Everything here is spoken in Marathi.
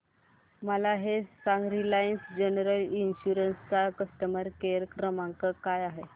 मला हे सांग रिलायन्स जनरल इन्शुरंस चा कस्टमर केअर क्रमांक काय आहे